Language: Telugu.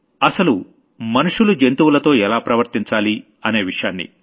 అసలు మనుషులు జంతువులతో ఎలా ప్రవర్తించాలి అనే విషయాన్ని